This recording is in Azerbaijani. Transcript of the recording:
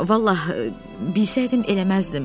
Vallah bilsəydim eləməzdim.